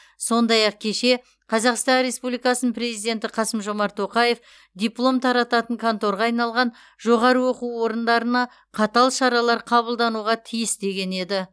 сондай ақ кеше қазақстан республикасының президенті қасым жомарт тоқаев диплом тарататын конторға айналған жоғары оқу орындарына қатал шаралар қабылдануы тиіс деген еді